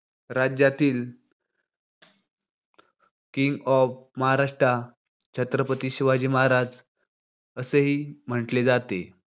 राज्यातील king of Maharashtra Chhatrapati Shivaji Maharaj असे ही म्हंटले जाते.